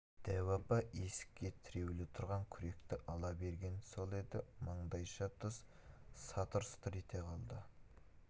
дәу апа есікке тіреулі тұрған күректі ала бергені сол еді маңдайша тұс сатыр-сұтыр ете қалды